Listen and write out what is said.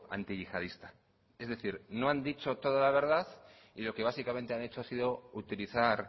antiyihadista es decir no han dicho toda la verdad y lo que básicamente han hecho ha sido utilizar